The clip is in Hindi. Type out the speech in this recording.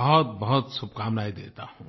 बहुतबहुत शुभकामनायें देता हूँ